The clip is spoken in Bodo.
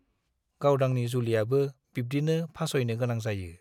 गावदांनि जुलियाबो बिब्दिनो फास'यनो गोनां जायो।